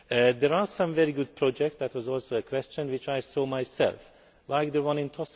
There are some very good projects that was also a question which I saw myself, like the one in Tuscany.